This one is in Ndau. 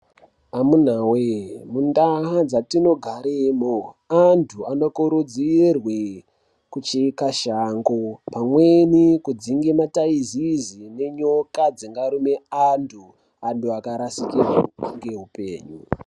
Amunawe mundaa dzatinogaremo antu anokurudzirwe kucheka shango pamweni kudzinga mataizizi nenyoka dzingaruna antu, antu akarasikirwa ngeupenyu.